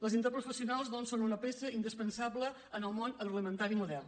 les interprofessionals doncs són una peça indispensable en el món agroalimentari modern